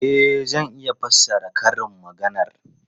E, zan iya fassara karin maganar.